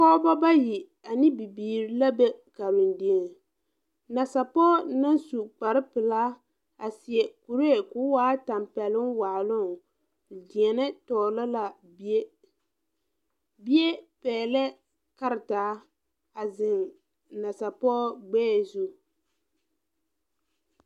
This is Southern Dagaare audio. Pɔɔbo bayi ane bibiire la be Karendieŋ nasapoge na su kpare pilaa a seɛ kuree koo waa tampeɛloŋ waaloŋ deɛnɛ tɔglɔ la bie bie pɛglɛɛ karetaa a zeŋ nasapɔɔ gbɛɛ zu.